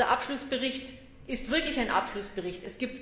Dieser Abschlussbericht ist wirklich ein Abschlussbericht.